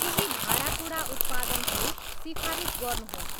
केही भाँडाकुँडा उत्पादनहरू सिफारिस गर्नुहोस्